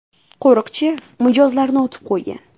Qo‘riqchi mijozlarni otib qo‘ygan.